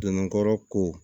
Donn'a kɔrɔ ko